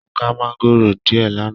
Mo ká maangoro diẹ l'ana.